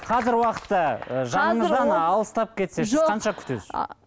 қазір уақытта жаныңыздан алыстап кетсе сіз қанша күтесіз